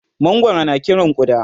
mangwaro na Kiran ƙuda